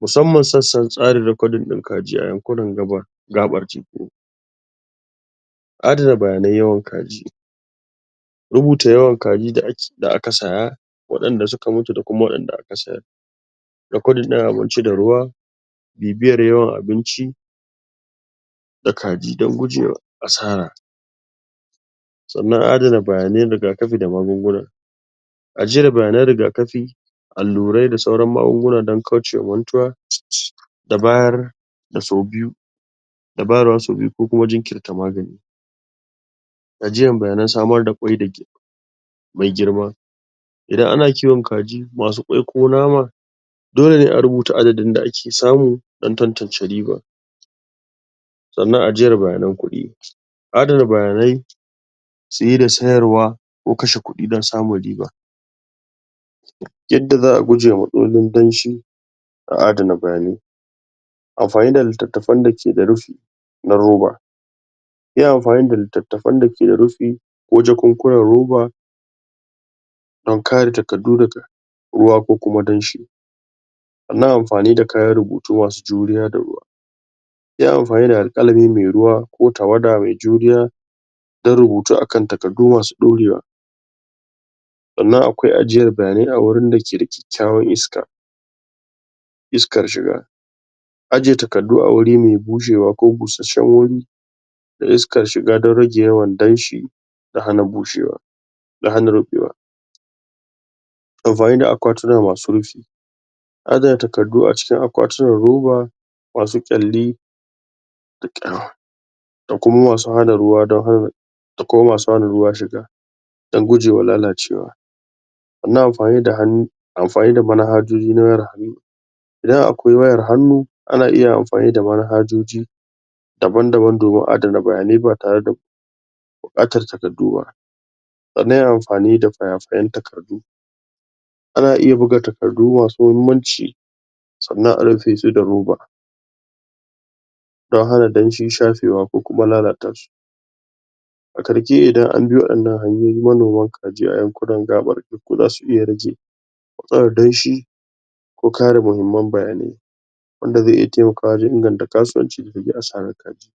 Musamman sassan tsarin rekodin kaji a yankunan gabas da teku. Adana bayanan yawan kaji, rubuta yawan kaji da aka saya wadanda suka mutu da kuma wadanda aka sayar, rekodin din abinci da ruwa bibiyar yawan abinci da kaji da gujewa asara. Sannan adana bayanai rigakafi da magunguna ajiyar bayanan rigakafi allurai da sauran magunguna dan kaucewa mantuwa da bayar da sau biyu da bayarwa sau biyu ko kuma jinkirta magani ajiyar bayanan samar da ƙwai mai mai girma, Idan ana kiwon kaji masu ƙwai ko nama dole ne a rubuta adadin da ake samu dan tantance riba. Sannan a jiyar bayanan kuɗi, adana bayanai saye da sayarwa ko kashe kuɗi dan samun riba, yanda za a guje ma matsalolin danshi a adana bayanai, amfani da littafan da ke da rufi na roba. Yin amfani da littattafan da ke da rufi ko jakunkunan roba dan kare takardu daga ruwa ko danshi. Sannan amfani da kayan rubutu masu juriya da ruwa, yin amfani da alkalami mai ruwa ko tawada mai juriya dan rubutu akan takardu masu ɗorewa. Sannan akwai ajiyar bayanai a wurin da ke da kyakkyawar iskar iskar shiga, aje takardu a wuri mai bushewa ko kosasshen wuri da iskar shiga dan rage yawan danshi da hana bushewa da hana ruɓewa. Amfani da akwatuna masu rufi, adana takardu a cikin akwatunan roba masu ƙyalli da kuma masu hana ruwa da kuma masu hana ruwa shiga dan gujewa lalacewa. Sannan amfani da amfani da manhajoji na wayar hannu. Idan akwai wayar hannu ana iya amfani da manhajoji daban-daban dan adana bayanai ba tare da buƙatar takardu ba. Sannan amfani da faya fayan takardu, ana iya buga takardu masu muhimmanci sannan a rufe su da roba dan hana danshi shafewa ko kuma lalata su. A ƙarshe, idan an bi waɗannan hanyoyi manoman kaji a yankunan gaɓar teku za su iya rage matsalar danshi ko kare muhimman bayanai wanda zai iya taimakawa wajen inganta kasuwanci da asaran kaji.